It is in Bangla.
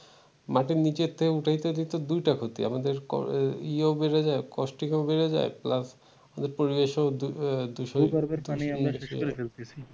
মাটির নিচ থেকে উঠাইতে দেখেন দুইটা ক্ষতি আমাদের ইয়াও বেড়ে যায় costing ও বেড়ে যায় plus পরিবেশ ও দূষণ